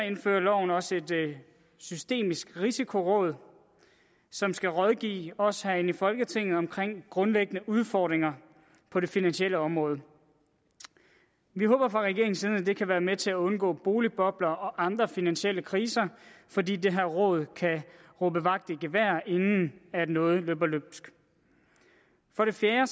indfører loven også et systemisk risikoråd som skal rådgive os herinde i folketinget om grundlæggende udfordringer på det finansielle område vi håber at det kan være med til at undgå boligbobler og andre finansielle kriser fordi det her råd kan råbe vagt i gevær inden noget løber løbsk for det fjerde